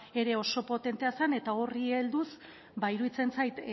ere oso potentea zen eta horri helduz iruditzen zait